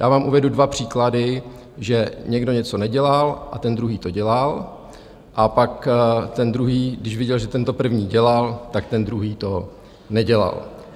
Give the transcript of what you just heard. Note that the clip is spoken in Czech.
Já vám uvedu dva příklady, že někdo něco nedělal a ten druhý to dělal, a pak ten druhý, když viděl, že ten první to dělal, tak ten druhý to nedělal.